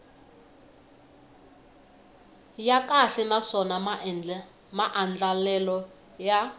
ya kahle naswona maandlalelo ya